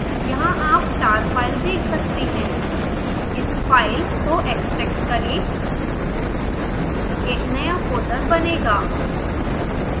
यहाँ आप tar file देख सकते हैं इस फाइल को एक्स्ट्रैक्ट करें एक नया फोल्डर बनेगा